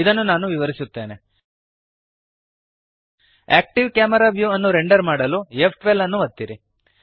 ಇದನ್ನು ನಾನು ವಿವರಿಸುತ್ತೇನೆ ಆಕ್ಟಿವ್ ಕ್ಯಾಮೆರಾ ವ್ಯೂ ಅನ್ನು ರೆಂಡರ್ ಮಾಡಲು ಫ್12 ಅನ್ನು ಒತ್ತಿರಿ